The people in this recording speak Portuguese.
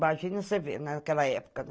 Imagina você vendo naquela época, né?